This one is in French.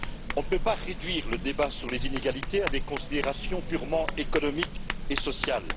On ne peut réduire le débat sur les inégalités à des considérations purement économiques et sociales.